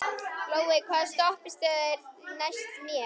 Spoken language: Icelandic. Glói, hvaða stoppistöð er næst mér?